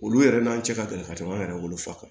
Olu yɛrɛ n'an cɛ ka gɛlɛn ka tɛmɛ an yɛrɛ wolofa kan